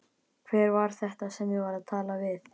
Hver var þetta sem ég var að tala við?